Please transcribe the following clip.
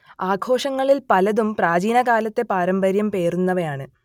ആഘോഷങ്ങളിൽ പലതും പ്രാചീനകാലത്തെ പാരമ്പര്യം പേറുന്നവയാണ്